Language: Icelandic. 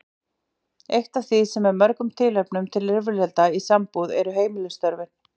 Eitt af því sem er mörgum tilefni til rifrilda í sambúð eru heimilisstörfin.